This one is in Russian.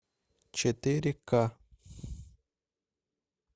четыре ка